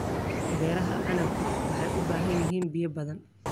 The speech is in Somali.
Beeraha canabku waxay u baahan yihiin biyo badan.